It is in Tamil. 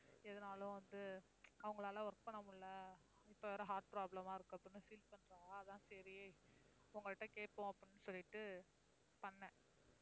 எதுனாலும் வந்து அவங்களால work பண்ண முடியல, இப்ப வேற heart problem ஆ இருக்குதுன்னு feel பண்றா. அதான் சரி உங்கள்ட்ட கேட்போம் அப்படின்னு சொல்லிட்டு பண்ணேன்.